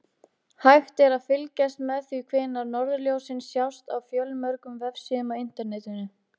Hægt er að fylgjast með því hvenær norðurljósin sjást á fjölmörgum vefsíðum á Internetinu.